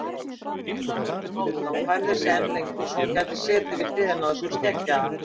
Haraldur Hálfdán færði sig enn lengra svo hún gæti setið við hliðina á þessum skeggjaða.